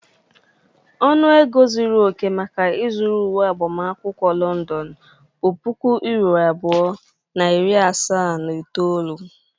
Ọnụ ego zuru oke maka ịzụrụ uwe agbamakwụkwọ London bụ puku euro abụọ na iri asaa na itoolu.